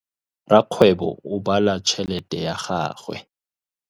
Rakgwêbô o bala tšheletê ya gagwe.